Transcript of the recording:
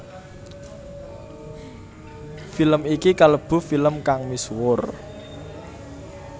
Film iki kalebu film kang misuwur